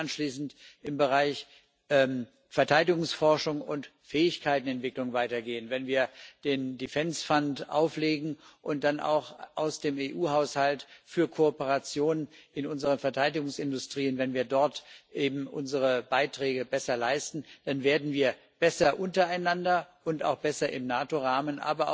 Wenn wir dann anschließend im Bereich Verteidigungsforschung und Fähigkeiten Entwicklung weitergehen, wenn wir den Defence Fund auflegen und dann auch im EU Haushalt für Kooperationen in unseren Verteidigungsindustrien unsere Beiträge besser leisten, dann werden wir besser untereinander und auch besser im NATO Rahmen.